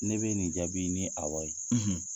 Ne be nin jaabi ni awɔ ye.